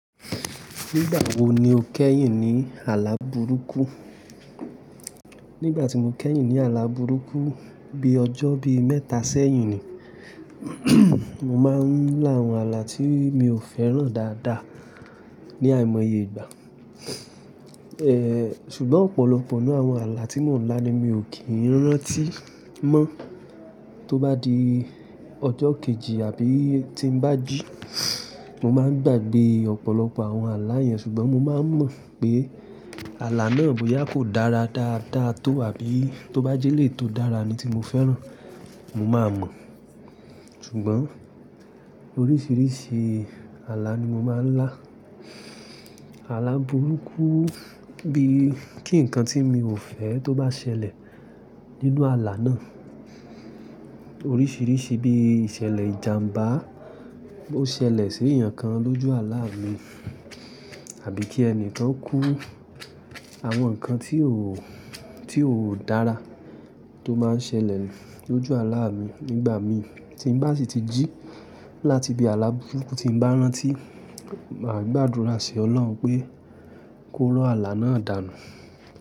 Nígbà wo ni o kẹ́yìn ní àlá burúkú? Nígbà tí mo kẹ́yìn ní àlá burúkú bí ọjọ́ bí mẹ́ta sẹ́yìn ni. Mo máa ń lá àwọn àlá tí mi ò fẹ́ràn dáadáa ní àìmọye ìgbà. Ṣùgbọ́n ọ̀pọ̀lọpọ̀ nínú àwọn àlá tí mò ń lá ni mi ò kí ń rántí mọ́. Tó bá di ọjọ́ kejì àbí tí ń bá ji, mo máa ń gbàgbé ọ̀pọ̀lọpọ̀ àwọn àlá yẹn ṣùgbọ́n mo máa ń mọ̀ pé àlá náà bóyá kò dára dáadáa tó àbí tó bá jẹ́ elèyi tó dára ni tí mo fẹ́ràn mo máa mọ̀. Ṣùgbọ́n oríṣiríṣi àlá ni mo máa ń lá. Àlá burúkú bí kí ǹkan tí mi ò fẹ́ tó bá ṣẹlẹ̀ nínú àlá náà. Oríṣiríṣi bí ìṣẹ̀lẹ̀ ìjànbá, bó ṣẹlẹ̀ sí èèyàn kan lójú àlá mi àbí kí ẹni kan kú. Àwọn nǹkan tí ò, tí ò dára tó máa ń ṣẹlẹ̀ lójú àlá mi nígbà mi tí ń bá sì ti jí láti bí àlá burúkú tí ń bá rántí, màá gbàdúrà sí ọlọ́run pé kó rọ àlá náà dànù.